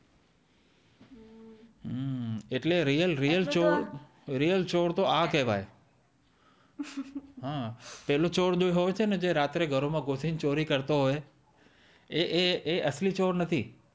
એટલે રિયલ ચોર તો આ કેવાઈ હમ્મ પેલો ચોર જે હોઈ છે ને જે રાત્રે ઘરો માં ઘુસી ને ચોરી કરતો હોઈ એ એ એ અસલી ચોર નથી